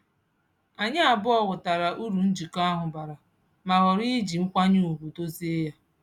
Anyị abụọ ghọtara uru njikọ ahụ bara ma ghọrọ iji nkwanye ugwu dozie ya.